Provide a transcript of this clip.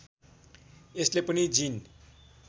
यसले पनि जिन